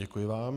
Děkuji vám.